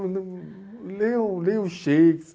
Lê o, leia o